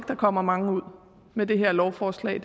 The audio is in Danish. der kommer mange ud med det her lovforslag